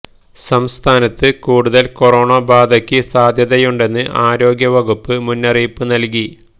സംസ്ഥാനത്ത് കൂടുതൽ കൊറോണ ബാധക്ക് സാധ്യതയുണ്ടെന്ന് ആരോഗ്യവകുപ്പ് മുന്നറിയിപ്പ് നൽകി